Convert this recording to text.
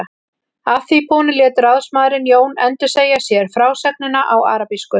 Að því búnu lét ráðsmaðurinn Jón endursegja sér frásögnina á arabísku.